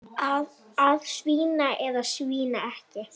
Að svína eða svína ekki.